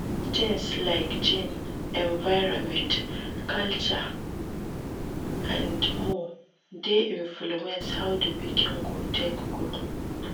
Things like gene, environment, culture and more de influence how di pikin go take grow